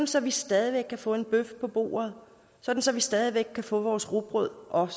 så vi stadig væk kan få en bøf på bordet så vi stadig væk kan få vores rugbrød og